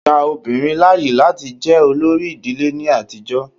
Á kìí gba obìnrin láàyè láti jẹ olórí ìdílé ní àtijọ́.